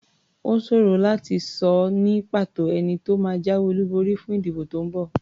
Ó ṣòro láti sọ ní pàtó ẹni tó máa jáwé olúborí fún ìdìbò tó ń bọ̀.